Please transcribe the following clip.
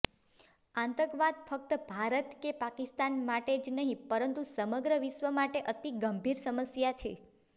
આતંકવાદ ફકત ભારત કે પાકિસ્તાન માટે જ નહીં પરંતુ સમગ્ર વિશ્વ માટે અતિગંભીર સમસ્યા છે